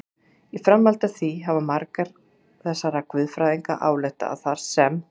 Í framhaldi af því hafa margir þessara guðfræðinga ályktað að þar sem